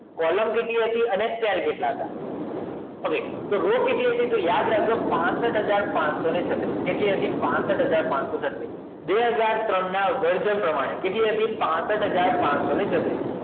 column કેટલી હતી અને કેટલા હતા તો સેલ કેટલા હતા okay તો રો કેટલી હતી તો યાદ રાખજો પાસઠ હજાર પચસો છત્રીસ કેટલી હતી પાસઠ હજાર પચસો છત્રીસ બે હજાર ત્રણ ના વર્ગ પ્રમાણે કેટલી હતીપાસઠ હજાર પચસો છત્રીસ